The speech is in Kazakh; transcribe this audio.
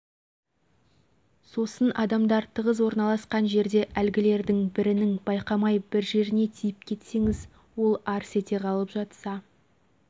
бірақ беттері ашық себебі мұсылмен заңы осыны талап етеді осынау қарама-қайшылықтың қайсысын таңдауға болады жауабын өздеріңізге